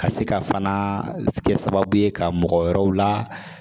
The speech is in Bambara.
Ka se ka fana kɛ sababu ye ka mɔgɔ wɛrɛw la